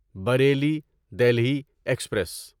Bareilly Delhi express